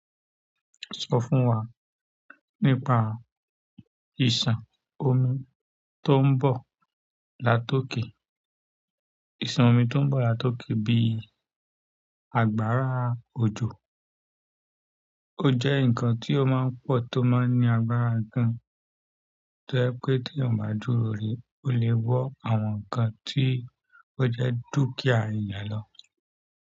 Sọ fún wa nípa ìṣàn omi tó ń bọ̀ latọkè. Ìṣàn omi tó ń bọ̀ latọkè bí i agbára òjò, ó jẹ́ ǹkan tí ó máa ń pọ̀ tó máa ń ní agbára gan, tó jẹ pé tí yan o bá dúró rẹ̀, ó lè wó àwọn ǹkan tí ó jẹ́ dúkìá èèyàn lọ.